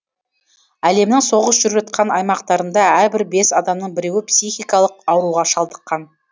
әлемнің соғыс жүріп жатқан аймақтарында әрбір бес адамның біреуі психикалық ауруға шалдыққан